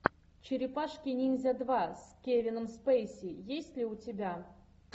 черепашки ниндзя два с кевином спейси есть ли у тебя